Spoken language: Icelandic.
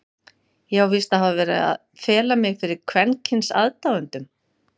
Ég á víst að hafa verið að fela mig fyrir kvenkyns aðdáendum?!